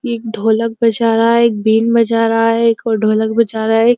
एक ढोलक बजा रहा है एक बीन बजा रहा है एक और ढोलक बजा रहा है एक --